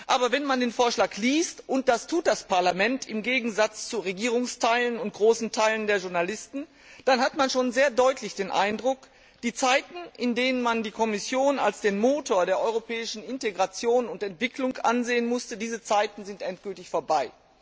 Aber wenn man den Vorschlag liest und das tut das Parlament im Gegensatz zu Regierungsteilen und großen Teilen der Journalisten dann hat man schon sehr deutlich den Eindruck, die Zeiten, in denen man die Kommission als den Motor der europäischen Integration und Entwicklung ansehen musste, sind endgültig vorbei.